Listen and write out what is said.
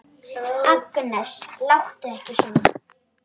Agnes, láttu ekki svona!